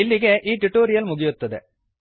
ಇಲ್ಲಿಗೆ ಈ ಟುಟೋರಿಯಲ್ ಮುಗಿಯುತ್ತದೆ